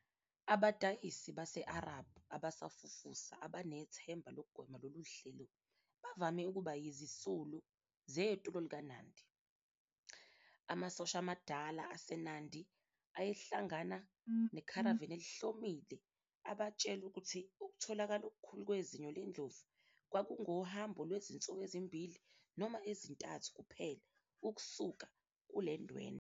"Abadayisi base-Arab abasafufusa abanethemba lokugwema lolu hlelo bavame ukuba yizisulu zetulo likaNandi. Amasosha amadala aseNandi ayehlangana nekharavani elihlomile abatshele ukuthi ukutholakala okukhulu kwezinyo lendlovu kwakungohambo lwezinsuku ezimbili noma ezintathu kuphela ukusuka kulendwendwe.